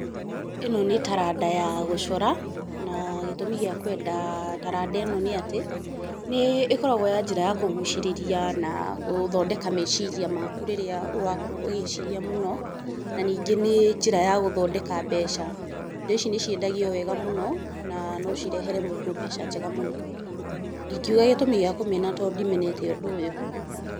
Ĩno nĩ taranda ya gũcora, na gĩtũmi gĩa kwenda taranda ĩno nĩ atĩ nĩ ĩkoragwo ya njĩra ya kũgucĩrĩria na gũthondeka meciria maaku rĩrĩa wakorwo ũgĩĩciria mũno, na ningĩ nĩ njĩra ya gũthondeka mbeca. Indo ici nĩ ciendagio wega mũno na no cirehere mũndũ mbeca njega mũno. Ndingiuga gĩtũmi gĩa kũmena tondũ ndimenete ũndũ ũyũ.